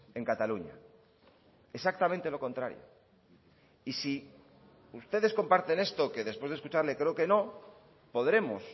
en cataluña exactamente lo contrario y si ustedes comparten esto que después de escucharle creo que no podremos